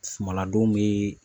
Sumala don bi